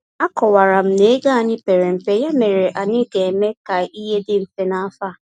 Akọwara m na ego anyị pere mpe, ya mere anyị ga-eme ka ihe dị mfe n’afọ a.